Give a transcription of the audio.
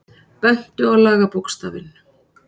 Bentu á lagabókstafinn